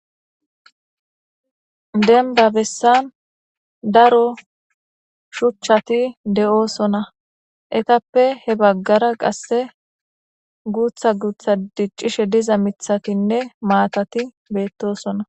denba bessan daro shuchchati de7oosona etappe he baggara qasse guutha guutha diccishe diza mithakinne maatati beettosona